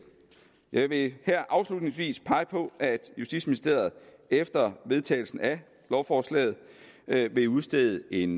jeg vil her afslutningsvis pege på at justitsministeriet efter vedtagelsen af lovforslaget vil udstede en